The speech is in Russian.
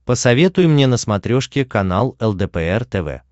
посоветуй мне на смотрешке канал лдпр тв